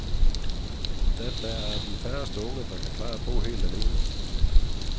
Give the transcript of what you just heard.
Da der er de færreste unge, der kan klare at bo helt alene.